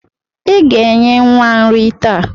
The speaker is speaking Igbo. Ị ga-enye nwa nrị taa.